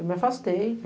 Eu me afastei.